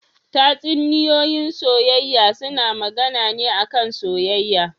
Tatsuniyoyin soyayya suna magAna ne a kan soyayya